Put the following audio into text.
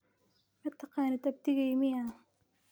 Mataqanid abtigey miyaa?